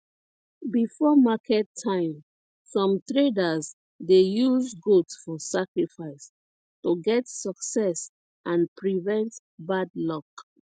before market time some traders dey use goat for sacrifice to get success and prevent bad luck